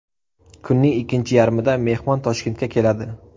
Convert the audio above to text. Kunning ikkinchi yarmida mehmon Toshkentga keladi.